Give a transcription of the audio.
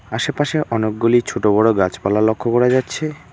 আশেপাশে অনেকগুলি ছোট বড় গাছপালা লক্ষ্য করা যাচ্ছে।